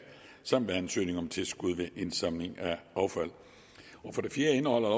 samt ved ansøgning om tilskud ved indsamling af affald for det fjerde indeholder